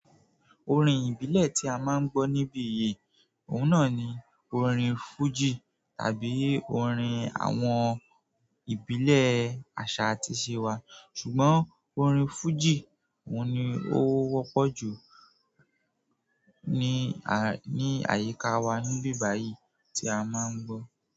Orin ìbílẹ̀ tí a má ń gbọ́ níbí yìí, òun náà ni orin fújì tàbí orin àwọn ìbílẹ̀ àṣà àti ìṣe wa. Ṣùgbọ́n orin fújì òun ni ó wọ́pọ̀ jù ní, ní àyíká wa níbí báyìí tí a má ń gbọ́.